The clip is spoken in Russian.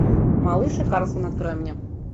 малыш и карлсон открой мне